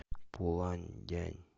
пуланьдянь